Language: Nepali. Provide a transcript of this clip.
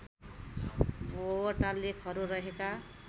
वटा लेखहरू रहेका